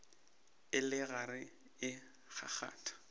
e le gare e kgakgatha